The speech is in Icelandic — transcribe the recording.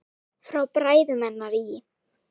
Frá bræðrum hennar í